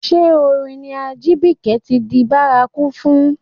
Ṣé orin ni Ajibike ti di bárakú fún?